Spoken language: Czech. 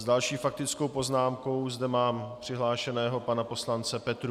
S další faktickou poznámkou zde mám přihlášeného pana poslance Petrů.